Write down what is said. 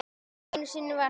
Einu sinni var það